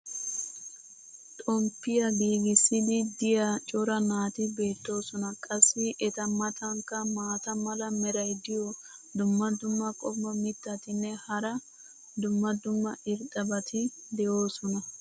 xomppiya gigissiidi diya cora naati beetoosona. qassi eta matankka maata mala meray diyo dumma dumma qommo mitattinne hara dumma dumma irxxabati de'oosona.